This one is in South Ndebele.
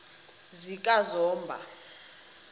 zikazomba